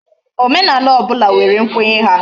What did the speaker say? Omenala obula nwere nkwenye ha